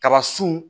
Kaba sun